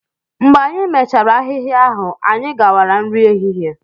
Mgbe anyị mechara ahịhịa ahụ, anyị gawara nri ehihie